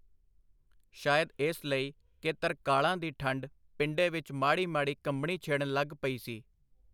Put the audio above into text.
ਸ਼ਾਇਦ ਇਸ ਲਈ ਕਿ ਤਰਕਾਲਾਂ ਦੀ ਠੰਢ ਪਿੰਡੇ ਵਿਚ ਮਾੜੀ ਮਾੜੀ ਕੰਬਣੀ ਛੇੜਨ ਲੱਗ ਪਈ ਸੀ.